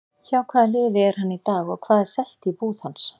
Hjá hvaða liði er hann í dag og hvað er selt í búð hans?